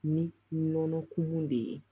Ni nɔnɔ kumu de ye